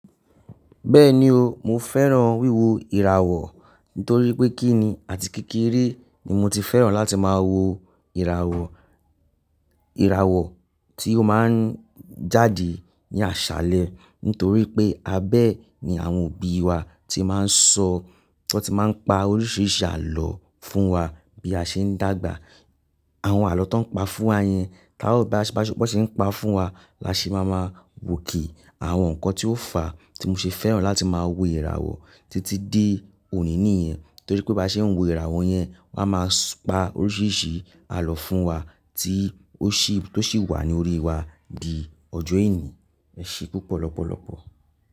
Bẹ́ẹ̀ni o, mo fẹ́ràn wíwo ìràwọ̀ nítorí pé kíni àti kékeré ni mo ti fẹ́ràn láti máa wo ìràwọ̀, ìràwọ̀ tí ó máa ń jáde ní àṣálẹ́ nítorí pé abẹ́ ẹ ni àwọn òbí wa ti máa ń sọ, wọ́n ti máa ń pa oríṣiríṣi àlọ́ fún wa bí a ṣe ń dàgbà. Àwọn àlọ́ tán ń pa fún wa yẹn, bí wọ́n ṣe ń pa fún wa la ṣe má máa wo òkè, àwọn ǹkan tí ó fà tí mo ṣe fẹ́ràn láti máa wo ìràwọ̀ títí dé òní nìyẹn nítorí pé bá ṣe ń wo ìràwọ̀ yẹn, wọ́n á máa pa oríṣiríṣi àlọ́ fún wa tí ó sì wà ní orí wa di ọjọ́ ení, ẹ ṣe púpọ̀ lọ́pọ̀lọpọ̀.